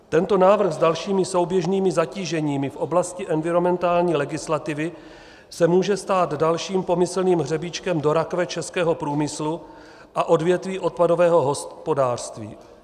Tento návrh s dalšími souběžnými zatíženími v oblasti environmentální legislativy se může stát dalším pomyslným hřebíčkem do rakve českého průmyslu a odvětví odpadového hospodářství.